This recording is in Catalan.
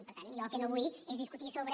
per tant jo el que no vull és discutir sobre